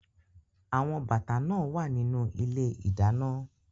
Awon bata naa wa ninu ile-idana